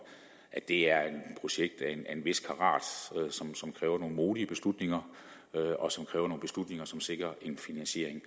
at det er et projekt af en vis karat som kræver nogle modige beslutninger og som kræver nogle beslutninger som sikrer en finansiering